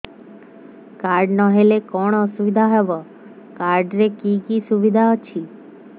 card ନହେଲେ କଣ ଅସୁବିଧା ହେବ କାର୍ଡ ରେ କି କି ସୁବିଧା ଅଛି